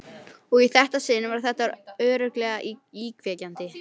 Og í þetta sinn var þetta örugglega íkveikja.